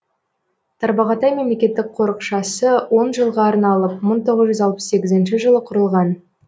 тарбағатай мемлекеттік қорықшасы он жылға арналып мың тоғыз жүз алпыс сегізінші жылы құрылған